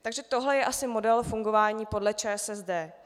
Takže tohle je asi model fungování podle ČSSD.